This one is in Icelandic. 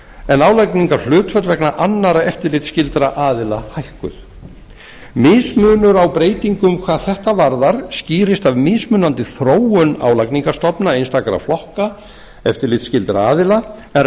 en álagningarhlutföll vegna annarra eftirlitsskyldra aðila hækkuð mismunur á breytingum hvað þetta varðar skýrist af mismunandi þróun álagningarstofna einstakra flokka eftirlitsskyldra aðila en